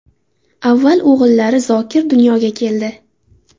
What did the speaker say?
Avval o‘g‘illari Zokir dunyoga keldi.